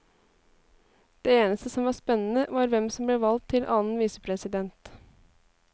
Det eneste som var spennende var hvem som ble valgt til annen visepresident.